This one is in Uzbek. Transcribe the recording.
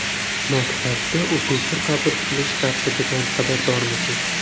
Maktabga o‘quvchi qabul qilish tartibidan xabardormisiz?.